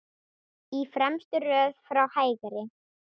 Í fremstu röð frá hægri